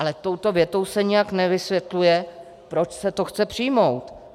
Ale touto větou se nijak nevysvětluje, proč se to chce přijmout.